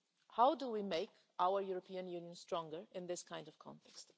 How do we make our European Union stronger in this kind of context?